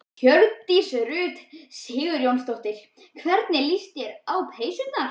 Hjördís Rut Sigurjónsdóttir: Hvernig líst þér á peysurnar?